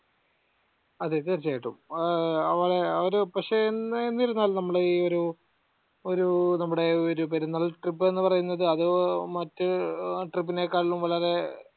അതെ തീർച്ചയായിട്ടും ഏർ അവടെ അവര് പക്ഷെ എന്നിരുന്നാൽ നമ്മള് ഈ ഒരു ഒരു നമ്മുടെ ഒരു പെരുന്നാൾ trip എന്ന പറയുന്നത് അത് മറ്റ് trip ഇനെക്കാളും വളരെ